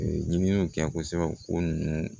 Ɲininiw kɛ kosɛbɛ ko ninnu